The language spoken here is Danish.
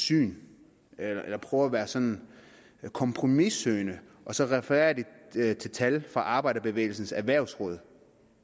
syn eller prøver at være sådan kompromissøgende og så refererer til tal fra arbejderbevægelsens erhvervsråd